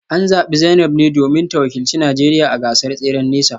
An zabi Zainab ne domin ta wakilci Najeriya a gasar tseren nesa